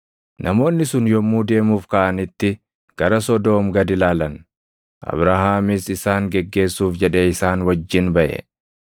Namoonni sun yommuu deemuuf kaʼanitti gara Sodoom gad ilaalan; Abrahaamis isaan geggeessuuf jedhee isaan wajjin baʼe.